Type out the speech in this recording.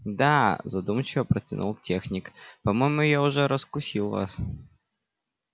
да задумчиво протянул техник по-моему я уже раскусил вас